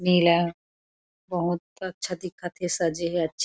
नीला बहुत अच्छा दिखत थे सजे हे अच्छा